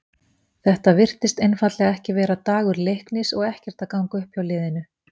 Þetta virtist einfaldlega ekki vera dagur Leiknis og ekkert að ganga upp hjá liðinu.